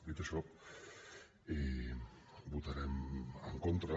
dit això votarem en contra